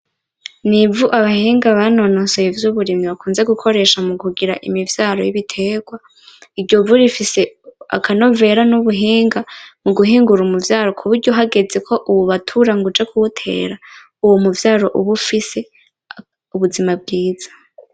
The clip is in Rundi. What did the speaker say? Ni ivu abahinga banonosoye ivy’uburimyi bakunze gukoresha mukugira imivyaro y’ibiterwa , iryo vu rifise akanovera n’ubuhinga muguhingura umuvyaro muburyo hageze ko uwubatura ngo uje kuwutera Uwo muvyaro uba ufise ubuzima bwiza.